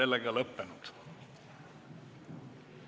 Istungi lõpp kell 17.03.